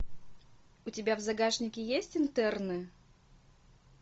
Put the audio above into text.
у тебя в загашнике есть интерны